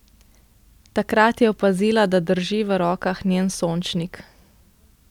Takrat je opazila, da drži v rokah njen sončnik.